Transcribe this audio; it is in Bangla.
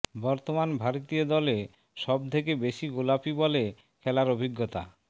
বর্তমান ভারতীয় দলে সব থেকে বেশি গোলাপী বলে খেলার অভিজ্ঞতা